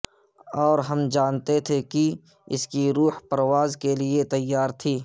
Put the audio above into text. اور ہم جانتے تھے کہ اس کی روح پرواز کے لئے تیار تھی